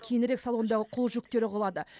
кейінірек салондағы қол жүктері құлады